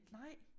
Nej